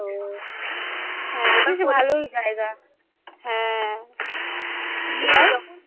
ওহ হ্যাঁ এবার ভালোই জায়গা হ্যাঁ এবার যখন